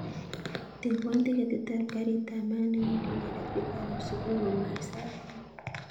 Tebwon tiketit ab garit ab maat newendi nairobi koron subui komait sait taman